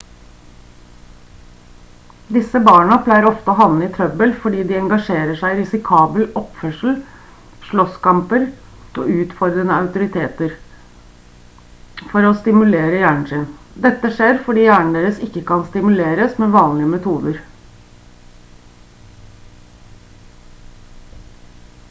disse barna pleier ofte å havne i trøbbel fordi de «engasjerer seg i risikabel oppførsel slåsskamper og utfordrer autoriteter» for å stimulere hjernen sin. dette skjer fordi hjernen deres ikke kan stimuleres med vanlige metoder